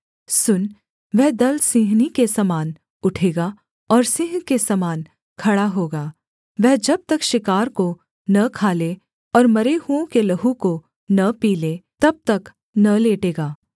सुन वह दल सिंहनी के समान उठेगा और सिंह के समान खड़ा होगा वह जब तक शिकार को न खा ले और मरे हुओं के लहू को न पी ले तब तक न लेटेगा